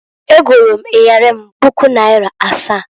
Egolu m iyeli m puku naịra asaa.